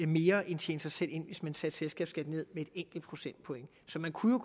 mere end tjene sig selv ind hvis man satte selskabsskatten ned med et enkelt procentpoint så man kunne